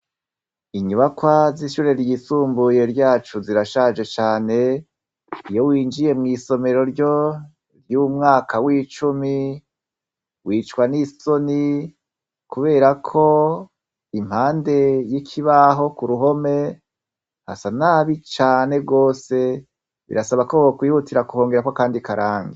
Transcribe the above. Inyubakwa ry'ishure ryisumbuye ryacu zirashaje cane, iyo winjiye mw'isomero ryo ry’umwaka w'icumi wicwa n'isoni ,kuberako impande y'ikibaho k'uruhome hasa nabi cane gose, birasaba ko bokwihutira kuhongerako akandi karangi.